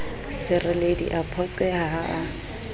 sereledi a phoqeha ha a